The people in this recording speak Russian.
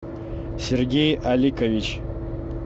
сергей аликович